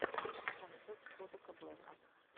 концерт кодака блэка